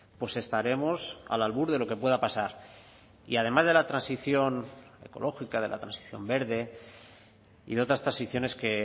pues estaremos al albur de lo que pueda pasar y además de la transición ecológica de la transición verde y de otras transiciones que